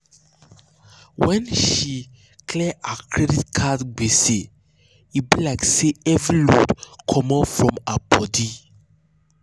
when she clear her credit card gbese e be like say heavy load comot for her body.